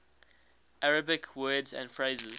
arabic words and phrases